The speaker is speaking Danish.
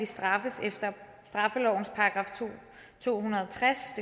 straffes efter straffelovens § to hundrede og tres